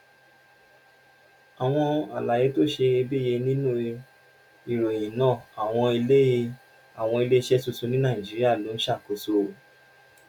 àwọn àlàyé tó ṣeyebíye nínú ìròyìn náà: àwọn ilé àwọn ilé iṣẹ́ tuntun ní nàìjíríà ló ń ṣàkóso